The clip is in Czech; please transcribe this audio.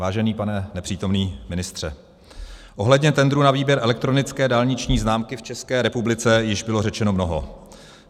Vážený pane nepřítomný ministře, ohledně tendru na výběr elektronické dálniční známky v České republice již bylo řečeno mnoho.